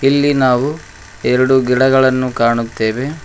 ಇಲ್ಲಿ ನಾವು ಎರಡು ಗಿಡಗಳನ್ನು ಕಾಣುತ್ತೇವೆ.